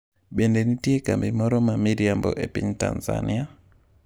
Be nitie kambi moro ma miriambo e piny Tanzania?